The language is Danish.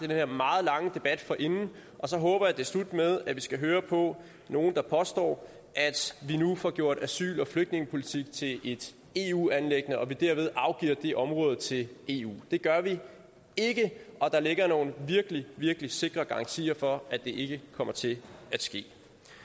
her meget lange debat forinden og så håber jeg at det er slut med at vi skal høre på nogle der påstår at vi nu får gjort asyl og flygtningepolitik til et eu anliggende og at vi derved afgiver det område til eu det gør vi ikke og der ligger nogle virkelig virkelig sikre garantier for at det ikke kommer til at ske